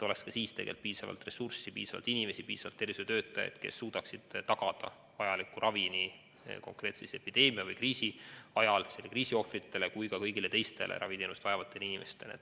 Ka siis peab olema piisavalt ressurssi, piisavalt tervishoiutöötajaid, kes suudaksid tagada vajaliku ravi epideemia või kriisi ajal nii selle kriisi ohvritele kui ka kõigile teistele raviteenust vajavatele inimestele.